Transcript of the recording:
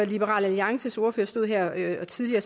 liberal alliances ordfører stod her tidligere